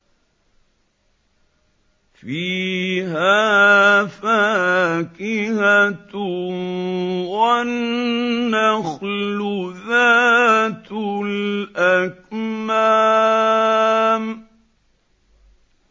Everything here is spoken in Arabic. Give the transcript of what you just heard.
فِيهَا فَاكِهَةٌ وَالنَّخْلُ ذَاتُ الْأَكْمَامِ